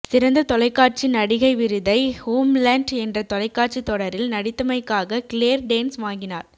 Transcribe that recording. சிறந்த தொலைக்காட்சி நடிகை விருதை ஹோம்லண்ட் என்ற தொலைக்காட்சித் தொடரில் நடித்தமைக்காக கிளேர் டேன்ஸ் வாங்கினார்